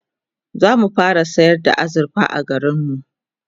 zamu fara sayar da azurfa a garinmu